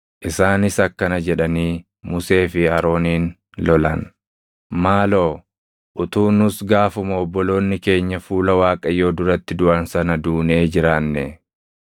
Isaanis akkana jedhanii Musee fi Arooniin lolan; “Maaloo utuu nus gaafuma obboloonni keenya fuula Waaqayyoo duratti duʼan sana duunee jiraannee!